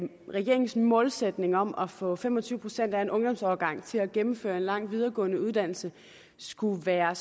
regeringens målsætning om at få fem og tyve procent af en ungdomsårgang til at gennemføre en lang videregående uddannelse skulle være